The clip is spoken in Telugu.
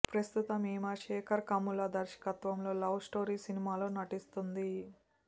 ప్రస్తుతం ఈమె శేఖర్ కమ్ముల దర్శకత్వంలో లవ్ స్టోరీ సినిమాలో నటిస్తుంది